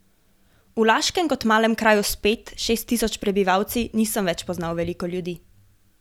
V Laškem kot malem kraju s pet, šest tisoč prebivalci nisem več poznal veliko ljudi.